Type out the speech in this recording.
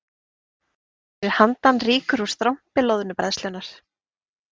Fyrir handan rýkur úr strompi loðnubræðslunnar